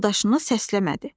Yoldaşını səsləmədi.